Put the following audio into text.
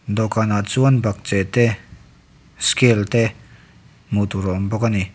dawhkan ah chuan bakcheh te scale te hmuh tur a awm bawk ani.